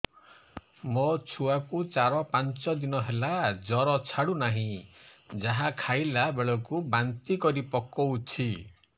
ମୋ ଛୁଆ କୁ ଚାର ପାଞ୍ଚ ଦିନ ହେଲା ଜର ଛାଡୁ ନାହିଁ ଯାହା ଖାଇଲା ବେଳକୁ ବାନ୍ତି କରି ପକଉଛି